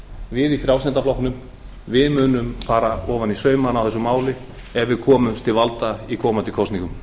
við í frjálslynda flokknum við munum fara ofan í saumana á þessu máli ef við komumst til valda í komandi kosningum